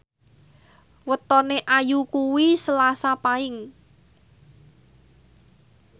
wetone Ayu kuwi Selasa Paing